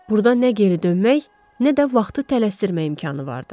Burda nə geri dönmək, nə də vaxtı tələsdirmək imkanı vardı.